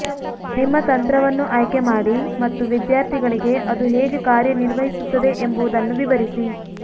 ನಿಮ್ಮ ತಂತ್ರವನ್ನು ಆಯ್ಕೆಮಾಡಿ ಮತ್ತು ವಿದ್ಯಾರ್ಥಿಗಳಿಗೆ ಅದು ಹೇಗೆ ಕಾರ್ಯನಿರ್ವಹಿಸುತ್ತದೆ ಎಂಬುದನ್ನು ವಿವರಿಸಿ